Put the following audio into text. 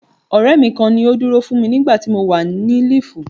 Ọ̀rẹ́ mi kan ni ó dúró fún mi nígbà tí mo wà ní líìfù.